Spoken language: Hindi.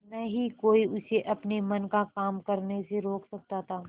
न ही कोई उसे अपने मन का काम करने से रोक सकता था